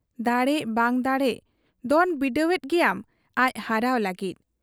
ᱫᱟᱲᱮᱜ ᱵᱟᱝ ᱫᱟᱲᱮᱜ ᱫᱚᱱ ᱵᱤᱰᱟᱹᱣᱮᱫ ᱜᱮᱭᱟᱢ ᱟᱡ ᱦᱟᱨᱟᱣ ᱞᱟᱹᱜᱤᱫ ᱾